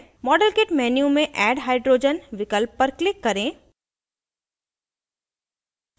model kit menu में add hydrogen विकल्प पर click करें